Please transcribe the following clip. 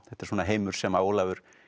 þetta er svona heimur sem Ólafur